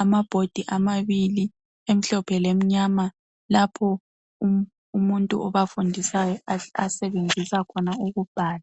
Amabhodi amabili emhlophe lemnyama lapho umuntu abafundisayo asebenzisa khona ukubhala.